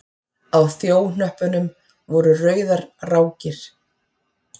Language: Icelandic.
Á þjóhnöppunum voru rauðar rákir.